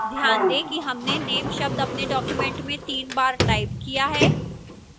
ध्यान दें कि हमने name शब्द अपने document में तीन बार टाइप किया है